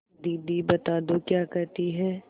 दीदी बता दो क्या कहती हैं